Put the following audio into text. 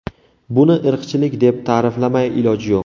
Buni irqchilik deb ta’riflamay iloj yo‘q.